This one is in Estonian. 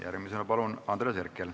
Järgmisena Andres Herkel, palun!